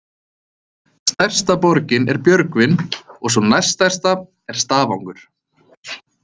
Stærsta borgin er Björgvin, og sú næst stærsta er Stafangur.